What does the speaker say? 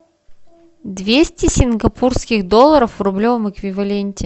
двести сингапурских долларов в рублевом эквиваленте